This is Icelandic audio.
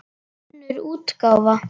Önnur útgáfa.